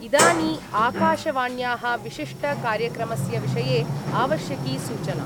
इदानी आकाशवाण्या: विशिष्ट कार्यक्रमस्य विषये आवश्यकी सूचना।